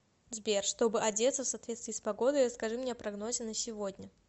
сбер чтобы одеться в соответствии с погодой расскажи мне о прогнозе на сегодня